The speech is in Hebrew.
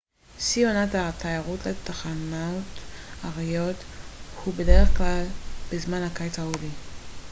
שיא עונת התיירות לתחנות ההרריות הוא בדרך כלל בזמן הקיץ ההודי